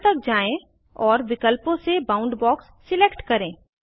style तक जाएँ और विकल्पों से बाउंडबॉक्स सिलेक्ट करें